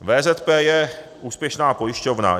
VZP je úspěšná pojišťovna.